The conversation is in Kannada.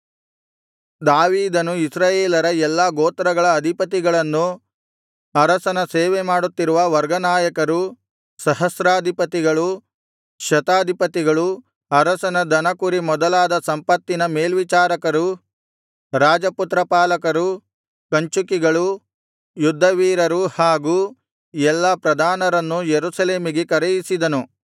ದಾವೀದನು ಇಸ್ರಾಯೇಲರ ಎಲ್ಲಾ ಗೋತ್ರಗಳ ಅಧಿಪತಿಗಳನ್ನು ಅರಸನ ಸೇವೆಮಾಡುತ್ತಿರುವ ವರ್ಗನಾಯಕರು ಸಹಸ್ರಾಧಿಪತಿಗಳು ಶತಾಧಿಪತಿಗಳು ಅರಸನ ದನಕುರಿ ಮೊದಲಾದ ಸಂಪತ್ತಿನ ಮೇಲ್ವಿಚಾರಕರು ರಾಜಪುತ್ರ ಪಾಲಕರು ಕಂಚುಕಿಗಳು ಯುದ್ಧವೀರರು ಹಾಗೂ ಎಲ್ಲಾ ಪ್ರಧಾನರನ್ನು ಯೆರೂಸಲೇಮಿಗೆ ಕರೆಯಿಸಿದನು